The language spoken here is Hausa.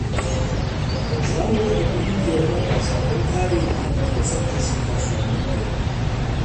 Za mu kafa ƙungiyar matasa don kare muhalli da tsaftace kasuwannin gari.